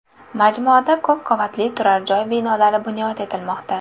Majmuada ko‘p qavatli turar joy binolari bunyod etilmoqda.